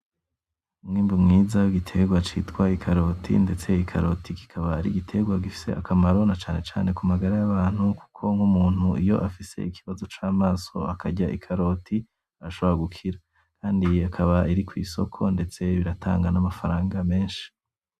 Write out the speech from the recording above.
Umwimbu mwiza w'igiterwa citwa ikaroti, ndetse ikaroti kikaba ar'igiterwa gifise akamaro na cane cane ku magara y'abantu kuko nk'umuntu iyo afise ikibazo c'amaso akarya ikaroti arashobora gukira, kandi akaba iri kw'isoko ndetse iratanga n'amafaranga menshi